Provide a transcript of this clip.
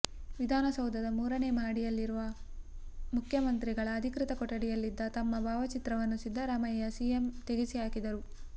ವಿಧಾನಸೌಧದ ಮೂರನೇ ಮಹಡಿಯಲ್ಲಿರುವ ಮುಖ್ಯಮಂತ್ರಿ ಗಳ ಅಧಿಕೃತ ಕೊಠಡಿಯಲ್ಲಿದ್ದ ತಮ್ಮ ಭಾವಚಿತ್ರವನ್ನು ಸಿದ್ದರಾಮಯ್ಯ ಸಿಎಂ ತೆಗೆಸಿ ಹಾಕಿದರು